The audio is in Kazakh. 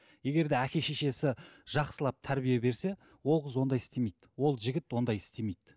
егер де әке шешесі жақсылап тәрбие берсе ол қыз ондай істемейді ол жігіт ондай істемейді